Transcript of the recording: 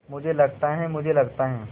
मुझे लगता है मुझे लगता है